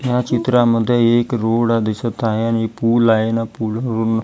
या चित्रामध्ये एक रोड दिसतं आहे आणि पुल आहे ना आणि पुल --